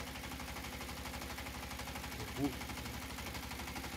табу сезон пятнадцать